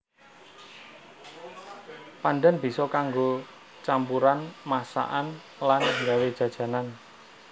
Pandhan bisa kanggo campuran masakan lan nggawé jajanan